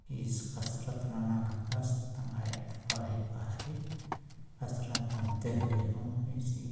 इस कसरत मन बाहरे-बाहरे कसरत करते हुए हु --